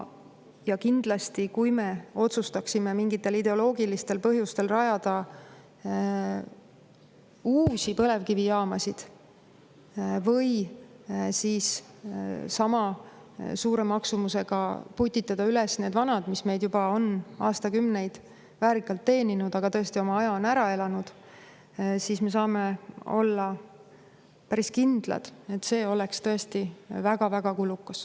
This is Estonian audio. Ja kindlasti, kui me otsustaksime mingitel ideoloogilistel põhjustel rajada uusi põlevkivijaamasid või siis sama suure maksumusega putitada üles need vanad, mis meid juba on aastakümneid väärikalt teeninud, aga tõesti oma aja ära elanud, siis me saame olla päris kindlad, et see oleks tõesti väga-väga kulukas.